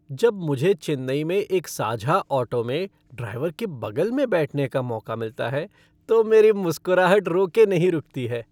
जब मुझे चेन्नई में एक साझा ऑटो में ड्राइवर के बगल में बैठने का मौका मिलता है तो मेरी मुस्कुराहट रोके नहीं रुकती है।